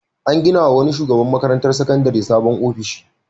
An ginawa wani shugaban makarantar sakandare sabon ofishi.